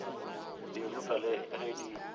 di rutwa le ge di